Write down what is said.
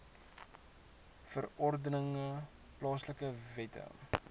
verordeninge plaaslike wette